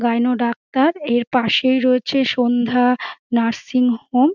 Gynae doctor এর পাশেই রয়েছে সন্ধ্যা নার্সিং হোম ।